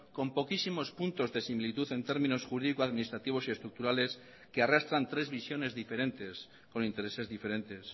con poquísimos puntos de similitud en términos jurídico administrativos y estructurales que arrastran tres visiones diferentes con intereses diferentes